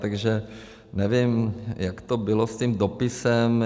Takže nevím, jak to bylo s tím dopisem.